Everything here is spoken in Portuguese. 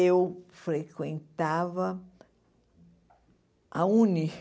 Eu frequentava a UNE.